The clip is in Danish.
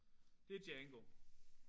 Det er Django